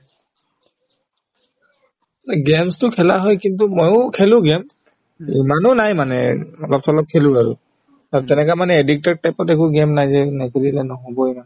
games তো খেলা হয় কিন্তু ময়ো খেলো game এই মানুহ নাই মানে অলপ-চলপ খেলো আৰু আৰু তেনেকা মানে addicted type ত একো game নাই যে নকৰিলে নহবয়ে